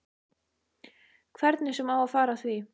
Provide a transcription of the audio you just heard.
Hvernig sem á að fara að því.